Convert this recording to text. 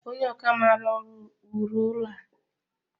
Onye ọkà maara ọlu wuru ụlọ a